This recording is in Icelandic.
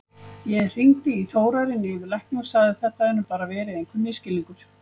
Ég hringdi í Þórarin yfirlækni og sagði að þetta hefði nú bara verið einhver misskilningur.